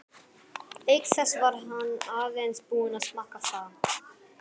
Auk þess var hann aðeins búinn að smakka það.